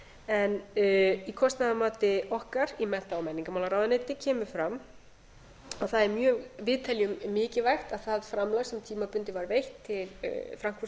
en í kostnaðarmati okkar í mennta og menningarmálaráðuneyti kemur fram að við teljum mikilvægt að það framlag sem tímabundið var veitt til frankfurtarverkefnisins